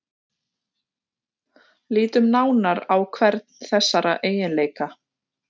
Lítum nánar á hvern þessara eiginleika.